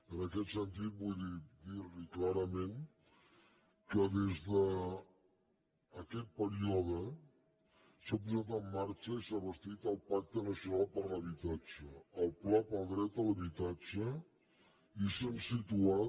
en aquest sentit vull dir li clarament que des d’aquest període s’ha posat en marxa i s’ha bastit el pacte nacional per a l’habitatge el pla pel dret a l’habitatge i s’han situat